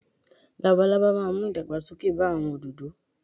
Labalábá máa mú ìdàgbà sókè bá àwon òdòdò